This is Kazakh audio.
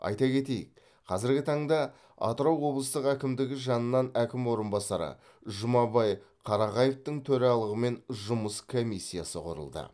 айта кетейік қазіргі таңда атырау облыстық әкімдігі жанынан әкім орынбасары жұмабай қарағаевтың төралығымен жұмыс комиссиясы құрылды